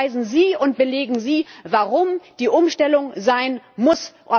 Beweisen Sie und belegen Sie, warum die Umstellung sein muss.